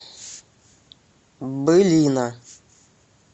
былина